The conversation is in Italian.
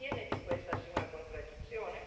Non ritiene che questa sia una contraddizione?